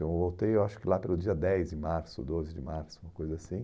Eu voltei, eu acho que lá pelo dia dez de março, doze de março, uma coisa assim.